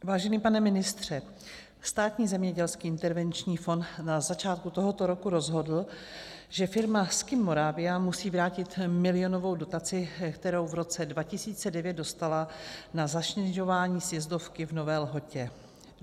Vážený pane ministře, Státní zemědělský intervenční fond na začátku tohoto roku rozhodl, že firma Ski-Moravia musí vrátit milionovou dotaci, kterou v roce 2009 dostala na zasněžování sjezdovky v Nové Lhotě.